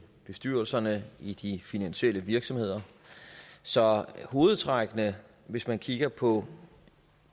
bestyrelserne i de finansielle virksomheder så hovedtrækkene hvis man kigger på